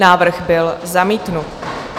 Návrh byl zamítnut.